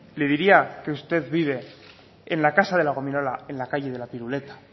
le diría que usted vive en la casa de la gominola en la calle de la piruleta